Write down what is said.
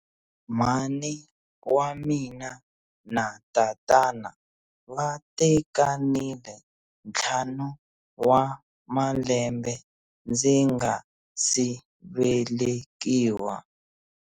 Mhani wa mina na tatana va tekanile ntlhanu wa malembe ndzi nga si velekiwa.